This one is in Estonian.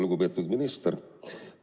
Lugupeetud minister!